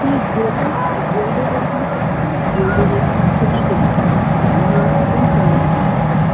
কি Gold -এর কাজ gold -এর ওইখানে কাজ করিস gold -এর ওইখানে সোনার দোকান তা আমি বললাম কোন সোনার দোকান